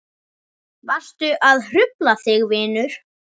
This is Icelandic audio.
Varstu að hrufla þig vinur?